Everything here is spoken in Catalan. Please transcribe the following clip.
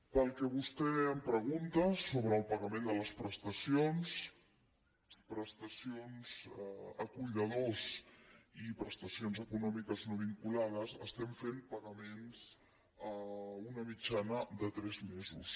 pel que vostè em pregunta sobre el pagament de les prestacions prestacions a cuidadors i prestacions econòmiques no vinculades estem fent pagaments a una mitjana de tres mesos